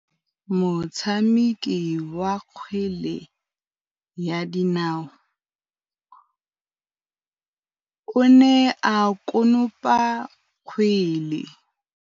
Motshameki wa kgwele ya dinaô o ne a konopa kgwele.